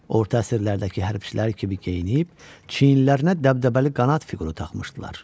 Orta əsrlərdəki hərbçilər kimi geyinib, çiyinlərinə dəbdəbəli qanad fiquru taxmışdılar.